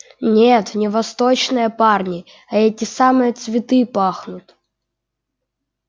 нет не восточные парни а эти самые цветы пахнут